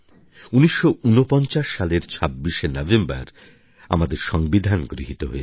১৯৪৯ সালের ২৬শে নভেম্বর আমাদের সংবিধান গৃহীত হয়েছিল